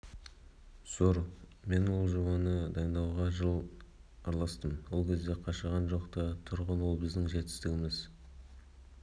зор мен ол жобаны дайындауға жыл араластым ол кезде қашаған жоқ-та тұғын ол біздің жетістігіміз